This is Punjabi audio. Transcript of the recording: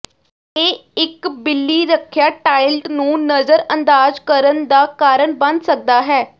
ਇਹ ਇੱਕ ਬਿੱਲੀ ਰੱਖਿਆ ਟਾਇਲਟ ਨੂੰ ਨਜ਼ਰਅੰਦਾਜ਼ ਕਰਨ ਦਾ ਕਾਰਨ ਬਣ ਸਕਦਾ ਹੈ